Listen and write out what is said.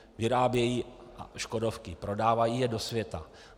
Vyrábějí škodovky, prodávají je do světa.